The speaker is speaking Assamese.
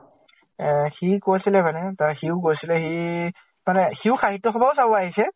এহ সি কৈছিলে মানে তাৰ সিও গৈছিলে সি মানে, সিও সাহিত্য় সভাও চাবও আহিছে ।